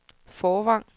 Fårvang